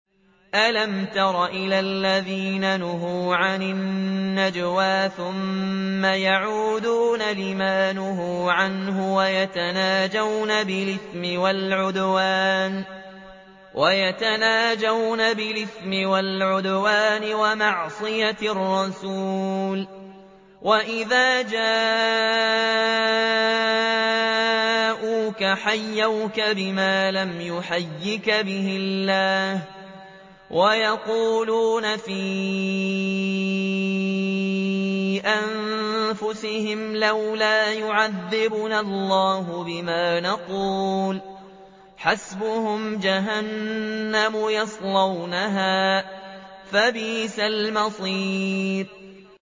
أَلَمْ تَرَ إِلَى الَّذِينَ نُهُوا عَنِ النَّجْوَىٰ ثُمَّ يَعُودُونَ لِمَا نُهُوا عَنْهُ وَيَتَنَاجَوْنَ بِالْإِثْمِ وَالْعُدْوَانِ وَمَعْصِيَتِ الرَّسُولِ وَإِذَا جَاءُوكَ حَيَّوْكَ بِمَا لَمْ يُحَيِّكَ بِهِ اللَّهُ وَيَقُولُونَ فِي أَنفُسِهِمْ لَوْلَا يُعَذِّبُنَا اللَّهُ بِمَا نَقُولُ ۚ حَسْبُهُمْ جَهَنَّمُ يَصْلَوْنَهَا ۖ فَبِئْسَ الْمَصِيرُ